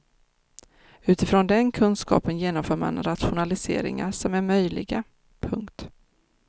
Utifrån den kunskapen genomför man de rationaliseringar som är möjliga. punkt